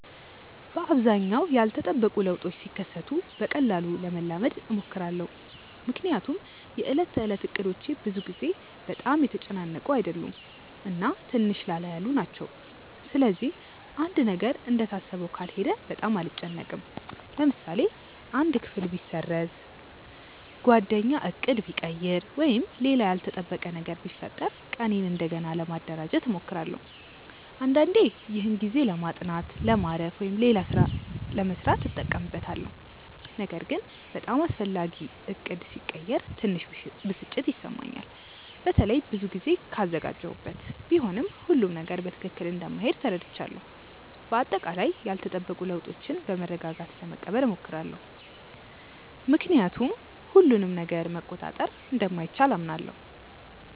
በአብዛኛው ያልተጠበቁ ለውጦች ሲከሰቱ በቀላሉ ለመላመድ እሞክራለሁ። ምክንያቱም የዕለት ተዕለት እቅዶቼ ብዙ ጊዜ በጣም የተጨናነቁ አይደሉም እና ትንሽ ላላ ያሉ ናቸው። ስለዚህ አንድ ነገር እንደታሰበው ካልሄደ በጣም አልጨነቅም። ለምሳሌ አንድ ክፍል ቢሰረዝ፣ ጓደኛ ዕቅድ ቢቀይር ወይም ሌላ ያልተጠበቀ ነገር ቢፈጠር ቀኔን እንደገና ለማደራጀት እሞክራለሁ። አንዳንዴ ይህን ጊዜ ለማጥናት፣ ለማረፍ ወይም ሌላ ሥራ ለመሥራት እጠቀምበታለሁ። ነገር ግን በጣም አስፈላጊ ዕቅድ ሲቀየር ትንሽ ብስጭት ይሰማኛል፣ በተለይ ብዙ ጊዜ ካዘጋጀሁበት። ቢሆንም ሁሉም ነገር በትክክል እንደማይሄድ ተረድቻለሁ። በአጠቃላይ ያልተጠበቁ ለውጦችን በመረጋጋት ለመቀበል እሞክራለሁ፣ ምክንያቱም ሁሉንም ነገር መቆጣጠር እንደማይቻል አምናለሁ።